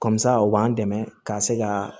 o b'an dɛmɛ ka se ka